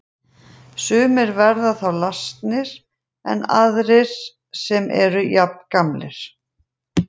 Sumir verða þá lasnari en aðrir sem eru jafngamlir.